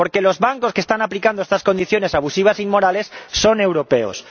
Porque los bancos que están aplicando estas condiciones abusivas e inmorales son europeos.